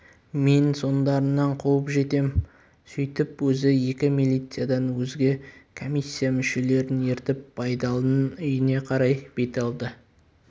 мен соңдарыңнан қуып жетем сөйтіп өзі екі милициядан өзге комиссия мүшелерін ертіп байдалының үйіне қарай бет алды